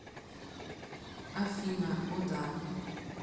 афина о да